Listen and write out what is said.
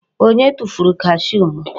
Onye tufuru kashuu m?